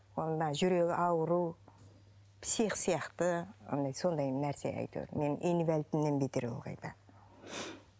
ол мына жүрегі ауру псих сияқты сондай нәрсе әйтеуір менің инвалидімнен бетер ол қайта